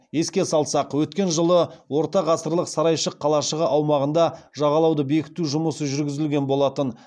еске салсақ өткен жылы ортағасырлық сарайшық қалашығы аумағында жағалауды бекіту жұмысы жүргізілген болатын